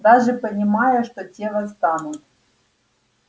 даже понимая что те восстанут